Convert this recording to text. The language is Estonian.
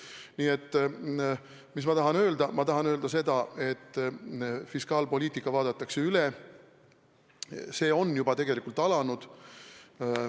Nii et ma tahan öelda seda, et fiskaalpoliitika vaadatakse üle, see on tegelikult juba alanud.